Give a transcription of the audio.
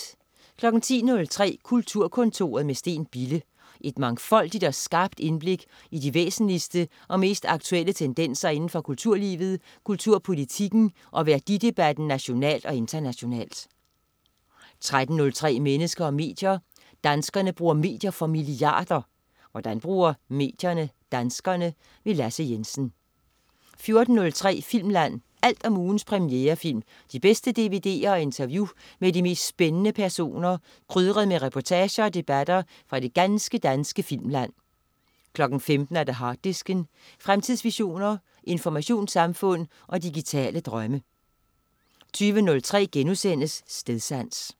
10.03 Kulturkontoret med Steen Bille. Et mangfoldigt og skarpt indblik i de væsentligste og mest aktuelle tendenser indenfor kulturlivet, kulturpolitikken og værdidebatten nationalt og internationalt 13.03 Mennesker og medier. Danskerne bruger medier for milliarder. Hvordan bruger medierne danskerne? Lasse Jensen 14.03 Filmland. Alt om ugens premierefilm, de bedste dvd'er og interview med de mest spændende personer, krydret med reportager og debatter fra det ganske danske filmland 15.00 Harddisken. Fremtidsvisioner, informationssamfund og digitale drømme 20.03 Stedsans*